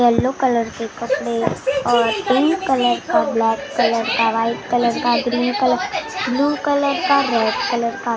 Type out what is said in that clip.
yellow colour के कपड़े और पिंक कलर का ब्लैक कलर का व्हाइट कलर का ग्रीन कलर ब्लू कलर का रेड कलर का --